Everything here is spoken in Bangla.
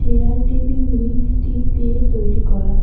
এয়ার টেবিলগুলি স্টিল দিয়ে তৈরি করা।